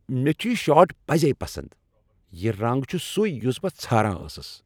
مےٚ چھِ یہ شٲرٹ پزی پسند ۔ یہ رنگ چُھ سُے یُس بہٕ ژھاران ٲسٕس ۔